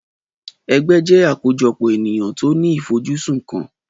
Ẹgbẹ́ jẹ́ àkójọpọ̀ ènìyàn tó ní ifojusun kan.